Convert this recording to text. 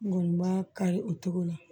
Mɔni ma kari o togo la